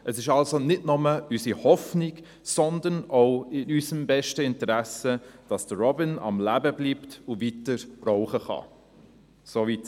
Es ist also nicht nur unsere Hoffnung, sondern auch in unserem besten Interesse, dass Robin am Leben bleibt und weiter Rauchen kann.»